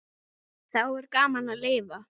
Þá er gaman að lifa!